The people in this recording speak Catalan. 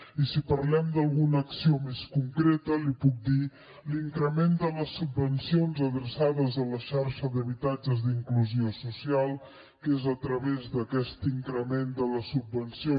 i si parlem d’alguna acció més concreta li puc dir l’increment de les subvencions adreçades a la xarxa d’habitatges d’inclusió social que és a través d’aquest increment de la subvenció